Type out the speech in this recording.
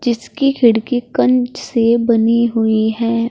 इसकी खिड़की कंच से बनी हुई है।